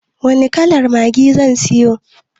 Wani kalar maggi zan siyo?